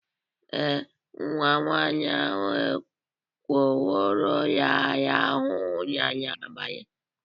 Ee, Nwa nwaanyị ahụ ekwero ya rahụ ụra n'abalị